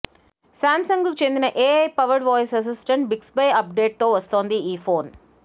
సాంసంగ్కు చెందిన AI powered voice assistant Bixby అప్డేట్తో వస్తుంది ఈ ఫోన్